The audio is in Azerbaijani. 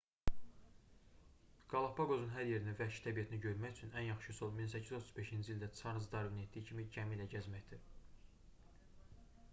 qalapaqosun hər yerini və vəhşi təbiətini görmək üçün ən yaxşı üsul 1835-ci ildə çarlz darvinin etdiyi kimi gəmi ilə gəzməkdir